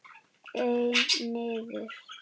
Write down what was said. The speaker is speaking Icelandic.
Einn niður.